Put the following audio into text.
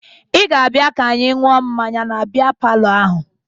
Ị ga-abịa ka anyị ṅụọ mmanya na bịa palọ ahụ